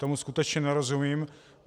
Tomu skutečně nerozumím.